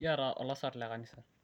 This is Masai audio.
kiata olasarr le kanisa